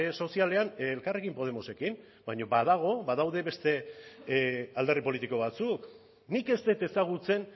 sozialean elkarrekin podemosekin baina badago badaude beste alderdi politiko batzuk nik ez dut ezagutzen